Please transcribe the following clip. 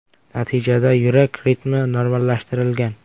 Natijada yurak ritmi normallashtirilgan.